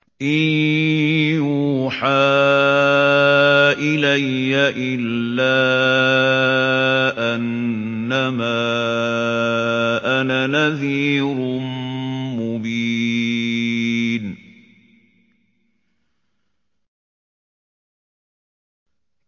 إِن يُوحَىٰ إِلَيَّ إِلَّا أَنَّمَا أَنَا نَذِيرٌ مُّبِينٌ